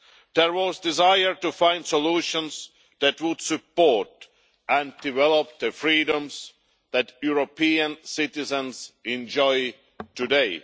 There was a desire to find solutions that would support and develop the freedoms that European citizens enjoy today.